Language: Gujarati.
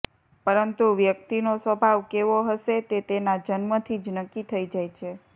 પરંતુ વ્યક્તિનો સ્વભાવ કેવો હશે તે તેના જન્મથી જ નક્કી થઇ જાય છે